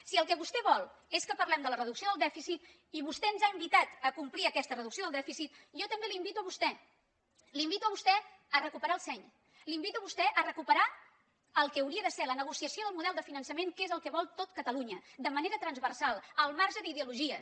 si el que vostè vol és que parlem de la reducció del dèficit i vostè ens ha invitat a complir aquesta reducció del dèficit jo també l’invito a vostè l’invito a vostè a recuperar el seny l’invito a vostè a recuperar el que hauria de ser la negociació del model de finançament que és el que vol tot catalunya de manera transversal al marge d’ideologies